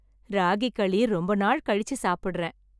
ராகி களி ரொம்ப நாள் கழிச்சு சாப்புடுறேன்!